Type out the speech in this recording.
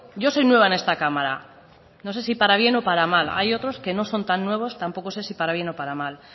yo soy nueva en esta cámara no sé si para bien o para mal hay otros que no son tan nuevos tampoco sé si para bien o para mal